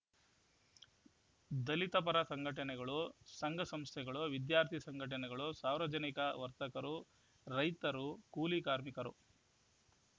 ದಲಿತ ಪರ ಸಂಘಟನೆಗಳು ಸಂಘಸಂಸ್ಥೆಗಳು ವಿದ್ಯಾರ್ಥಿ ಸಂಘಟನೆಗಳು ಸಾರ್ವಜನಿಕರು ವರ್ತಕರು ರೈತರು ಕೂಲಿ ಕಾರ್ಮಿಕರು